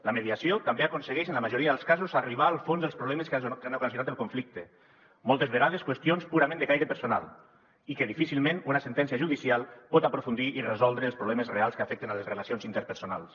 la mediació també aconsegueix en la majoria dels casos arribar al fons dels problemes que han ocasionat el conflicte moltes vegades qüestions purament de caire personal i que difícilment una sentència judicial pot aprofundir i resoldre els problemes reals que afecten les relacions interpersonals